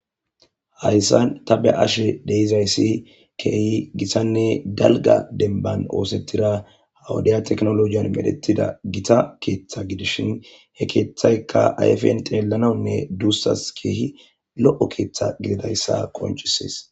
hayssan ta be ashe deizayssi keehi gisanne galga denban oosettira hawudiya teknolojiyan medhettida gita keeththa gidishin he keeththayka ayfen xeellanawunne duussas keehi lo7o keeththa gididayssa konchisees